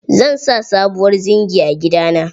Zan sa sabuwar zingi a gida na.